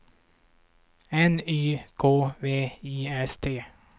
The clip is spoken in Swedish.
N Y K V I S T